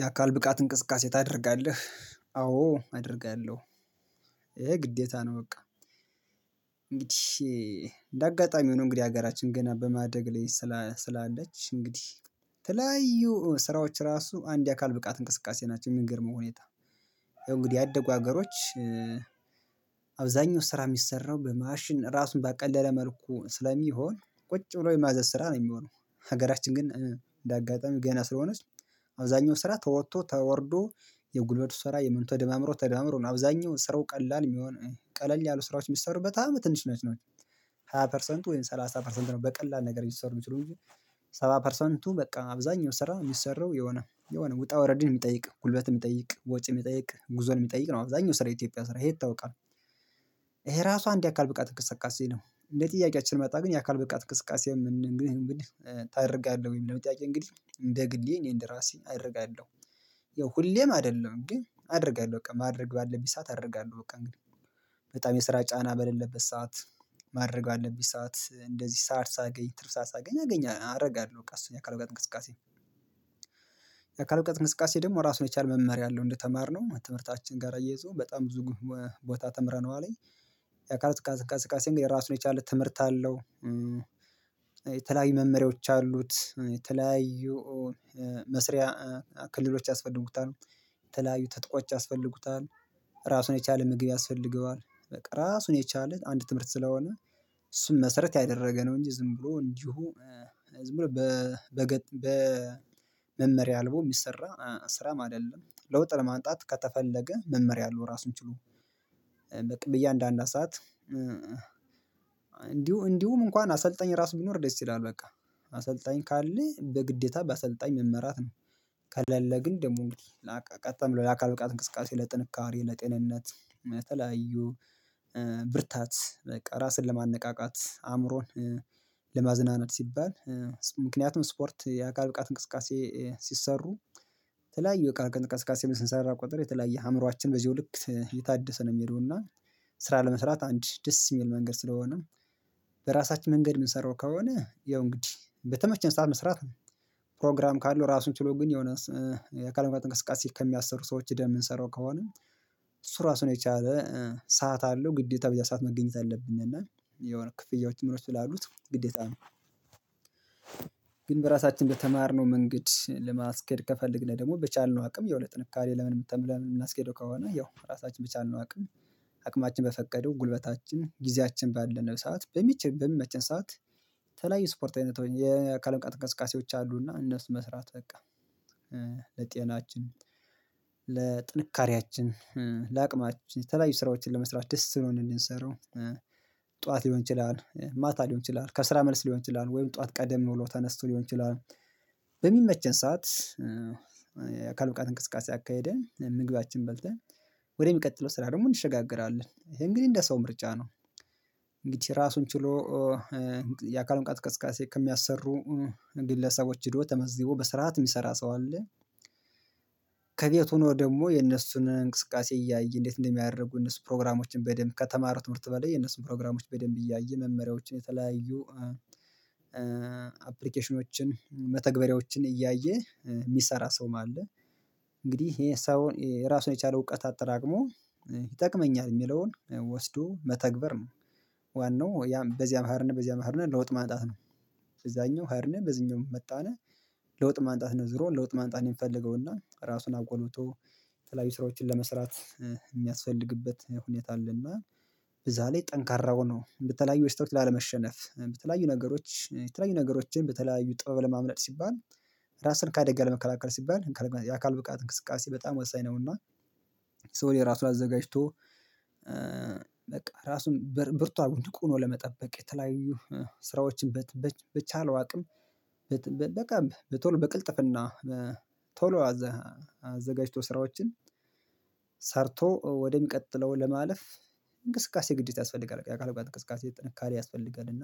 የአካል ብቃት እንቅስቃሴ ታደርጋለህ? አዎ አደርጋለሁ ይሄ ግዴታ ነው። በቃ እንግዲህ እንደ አጋጣሚ ሆኖ እንግዲህ ሀገራችን ገና በማደግ ላይ ስላለች እንግዲህ የተለያዩ ስራዎች ራሱ አንድ የአካል ብቃት እንቅስቃሴ ናቸው። ሚገርመው ሁኔታ። እንግዲህ ያደጉ ሀገሮች አብዛኛው ስራ ሚሰራው በማሽን ራሱን ባቀለለ መልኩ ስለሚሆን ቁጭ ብሎ የማዘዝ ስራ ነው። ሚሆነው ሀገራችን ግን እንዳጋጣሚ ገና ስለሆነች አብዛኛው ስራ ተወጥቶ ተወርዶ የጉልበት ስራ የምኑ ተደማምሮ ተደማምሮ ነው። አብዛኛውን ስራው ቀላል የሚሆን ቀለል ያሉ ስራዎች ሚሰሩበት በጣም ትንሽ ናቸው። ሃያ ፐርሰንት ወይም ሰላሳ ፐርሰንት ነው በቀላል ነገር ሊሰሩ ይችሉ እንጂ። ሰባ ፐርሰንቱ በቃ አብዛኛው ሰራ የሚሰራው የሆነ የሆነ ውጣ ውረድን ሚጠይቅ ጉልበት ሚጠይቅ ወጪ ሚጠይቅ ጉዞን ሚጠይቅ ነው አብዛኛው ስራ የኢትዮጵያ ስራ ይሄ ይታወቃል። ይሄ ራሱ አንድ አካል ብቃት እንቅስቃሴ ነው። እንዴ ጥያቄያችን መጣ ግን የአካል ብቃት እንቅስቃሴ የምንገኝ እንግዲህ ታደርጋለህ ወይም የሚለውን ጥያቄ እንግዲህ እንደ ግሌ እኔ እንደ ራሴ አደርጋለሁ። ይኸው ሁሌም አይደለም ግን አደርጋለሁ በቃ ማድረግ ባለብኝ ሰዓት አደርጋለሁ በቃ እንግዲህ በጣም የስራ ጫና በሌለበት ሰዓት ማድረግ ባለብኝ ሰዓት እንደዚህ ሰዓት ሳገኝ ትርፍ ሰዓት ሳገኝ አገኛለሁ አረጋለሁ በቃ እሱን የአካል ብቃት እንቅስቃሴ። የአካል ብቃት እንቅስቃሴ ደግሞ ራሱን የቻለ መመሪያ አለው እንደተማርነው ትምህርታችን ጋር አያይዘው በጣም ብዙ ቦታ ተምረነዋለኝ ያአካላት እንቅስቃሴ እንግዲህ ራሱን የቻለ ትምህርት አለው። የተለያዩ መመሪያዎች አሉት። የተለያዩ መስሪያ ክልሎች ያስፈልጉታል። የተለያዩ ትጥቆች ያስፈልጉታል። ራሱን የቻለ ምግብ ያስፈልገዋል በቃ ራሱን የቻለት አንድ ትምህርት ስለሆነ። እሱን መሰረት ያደረገ ነው እንጂ ዝም ብሎ እንዲሁ ዝም ብሎ በመመሪያ አልቦ ሚሰራ ስራም አይደለም። ለውጥ ለማንጣት ከተፈለገ መመሪያ አለው ራሱን ችሎ። በቃ በእያንዳንዱ ሰዓት እንዲሁ እንዲሁ እንኳን አሰልጣኝ ራሱ ቢኖር ደስ ይላል በቃ። አሰልጣኝ ካለ በግዴታ በአሰልጣኝ መመራት ነው። ከለለ ግን ደግሞ እንግዲህ ቀጥ ተብሎ የአካል ብቃት እንቅስቃሴ ለጥንካሬ ለጤንነት ለተለያዩ ብርታት በቃ ራስን ለማነቃቃት አእምሮን ለማዝናናት ሲባል። ምክንያቱም ስፖርት የአካል ብቃት እንቅስቃሴ ሲሰሩ የተለያዩ የአካል ብቃት እንቀስቃሴ ስንሰራ ቁጥር የተለያየ አእምሮአችን በዚሁ ልክ የታደሰ ነው የሚሄደው። ስራ ለመስራት አንድ ደስ ሚል መንገድ ስለሆነ። በራሳችን መንገድ ምንሰራው ከሆነ ያው እንግዲህ በተመቸን ሰዓት መስራት ነው። ፕሮግራም ካለው ራሱን ችሎ ግን የሆነ አካል ብቃት እንቅስቃሴ ከሚያሰሩ ሰዎች ሂደን ምንሰራው ከሆነ። እሱ ራሱን የቻለ ሰዓት አለው ግዴታ በዚያ ሰዓት መገኘት አለብነ እና የሆነ ክፍያዎች ምኖች ስላሉት ግዴታ ነው። ግን በራሳችን በተማርነው መንገድ ለማስኬድ ከፈለግነ ደግሞ በቻልነው አቅም ያው ጥንካሬ ለምን የምንም ለምን የምናስኬደው ከሆነ ያው ራሳችን በቻልነው አቅም። አቅማችን በፈቀደው ጉልበታችን ጊዜያችን ባለነው ሰዓት በሚችል በሚመቸን ሰዓት። የተለያዩ ስፖርት አይነት የአካል እንቀስቃሴዎች አሉና እነሱ መስራት በቃ። ለጤናችን ለጥንካሬያችን ለአቅማችን የተለያዩ ስራዎችን ለመስራት ደስ ብሎን እንድንሰራው። ጠዋት ሊሆን ይችላል ማታ ሊሆን ይችላል ከስራ መልስ ሊሆን ይችላል ወይም ጠዋት ቀደም ብሎ ተነስቶ ሊሆን ይችላል። በሚመቸን ሰዓት የአካል ብቃት እንቅስቃሴ አካሄደን ምግባችን በልተን ወደሚቀጥለው ስራ ደግሞ እንሸጋገራለን ይሄ እንግዲህ እንደ ሰው ምርጫ ነው። እንግዲህ ራሱን ችሎ። ብቃት እንቅስቃሴ ከሚያሰሩ ግለሰቦች ሄዶ ተመዝቦ በስርዓት የሚሰራ ሰው አለ። ከቤቱ ሁኖ ደግሞ የነሱን እንቅስቃሴ እያየ እንዴት እንደሚያደርጉ እነሱ ፕሮግራሞችን በደንብ ከተማሩ ትምህርት በላይ የነሱን ፕሮግራሞች በደንብ እያየ መመሪያዎችን የተለያዩ አፕሊኬሽኖችን መተግበሪያዎችን እያየ ሚሰራ ሰውም አለ። እንግዲህ ይሄን ሰው ራሱን የቻለው እውቀት አጠራቅሞ ይጠቅመኛል ሚለውን ወስዶ መተግበር ነው። ዋናው ያም በዚያም ኽድነ በዚያ ኽድነ ለውጥ ማጣት ነው። እዛኛው ኽድነ በዚህኛውም መጣነ። ለውጥ ማንጣት ነው ዝሮ ለውጥ ማንጣት ነው ሚፈልገው ና ራሱን አጎልብቶ። የተለያዩ ስራዎችን ለመስራት ሚያስፈልግበት ሁኔታ አለና። በዛ ላይ ጠንካራው ነው በተለያዩ በሽታዎች ላለመሸነፍ በተለያዩ ነገሮች የተለያዩ ነገሮችን በተለያዩ ጥበብ ለማምለጥ ሲባል ራስን ከአደጋ ለመከላከል ሲባል የአካል ብቃት እንቅስቃሴ በጣም ወሳኝ ነው። እና ሶ የራሱን አዘጋጅቶ ራሱን ብርቱ አርጎ ንቁ ሁኖ ለመጠበቅ የተለያዩ ስራዎችን በቻለው አቅም። በቀምብ በቶሎ በቅልጥፍና በቶሎ አዘጋጅቶ ስራዎችን ሰርቶ ወደሚቀጥለው ለማለፍ። እንቅስቃሴ ግዴታ ያስፈልጋል የአካል ብቃት እንቅስቃሴ ጥንካሬ ያስፈልጋል። እና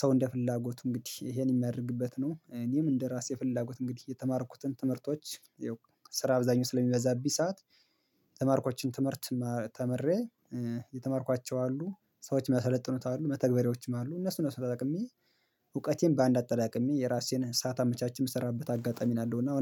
ሰው እንደ ፍላጎቱ እንግዲህ ይሄን የሚያደርግበት ነው። እኔም እንደ ራሴ ፍላጎት እንግዲህ የተማርኩትን ትምህርቶች ይህው ስራ አብዛኛው ስለሚበዛብኝ ሰዓት። ተማርኮችን ትምህርት ተምሬ። የተማርኳቸው አሉ ሰዎች የሚያሰለጥኑት አሉ መተግበሪዎችም አሉ እነሱ እነሱን ተጠቅሜ እውቀቴን በአንድ አጠራቅሜ የራሴን ሰዓት አመቻችቼ ምሰራበት አጋጣሚ ያለው ነው። እና